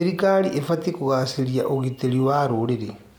Thirikari ĩbatiĩ kũgacĩrithia ũgitĩri wa rũrĩrĩ.